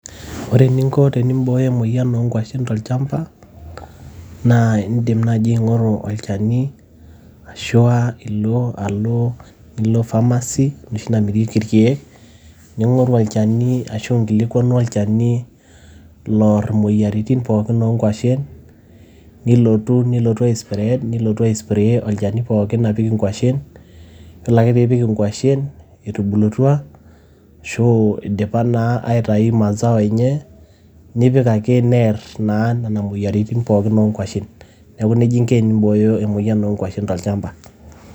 Ore eninko tenibooyo emoyian tolchamba naa idim naaji aing`oru olchani ashua aa ilo alo nilo pharmacy enoshi namirieki ilkiek. Ning`oru olchani ashu nkilikuanu olchani Loar imoyiaritin pookin oo nkuashen. Nilotu, nilotu aisipiread nilotu ai spray olchani pookin apik nkuashen. Yiolo ake pee ipik nkuashen etubulutua ashu idipa naa aitayu mazao enye. Nipik ake near naa nena moyiaritin pookin o nkuashen niaku neijia inko tenibooyo emoyian oo nkuashen tolchamba.